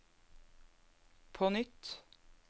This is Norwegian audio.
på nytt